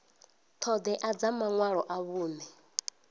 ṱhoḓea dza maṅwalo a vhuṅe